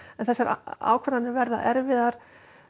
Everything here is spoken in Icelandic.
þessar ákvarðanir verða erfiðar